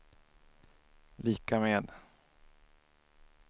lika med